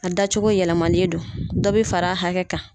A dacogo yɛlɛma don, dɔ bɛ fara hakɛ kan.